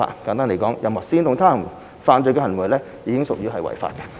簡單而言，任何煽動他人犯罪的行為已經屬於違法。